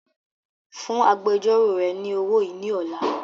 Fún agbẹjọ́ró rẹ ni owó yìí ni ọ̀la!